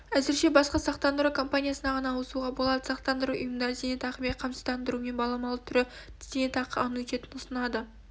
әзірше басқа сақтандыру компаниясына ғана ауысуға болады сақтандыру ұйымдары зейнетақымен қамсыздандырудың баламалы түрі зейнетақы аннуитетін ұсынады